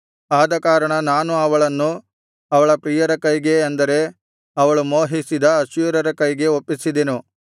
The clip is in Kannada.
ಆದಕಾರಣ ನಾನು ಅವಳನ್ನು ಅವಳ ಪ್ರಿಯರ ಕೈಗೆ ಅಂದರೆ ಅವಳು ಮೋಹಿಸಿದ ಅಶ್ಶೂರ್ಯರ ಕೈಗೆ ಒಪ್ಪಿಸಿದೆನು